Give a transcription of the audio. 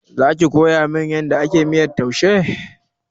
Zaki koyamin yadda ake miyar taushe?